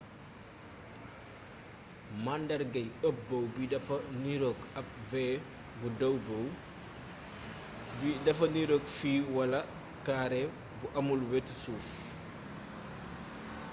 màandargay up bow bi dafa niroog ab v bu” dow bow” bi dafa niroog fit walaa kaare bu amul wetu suuf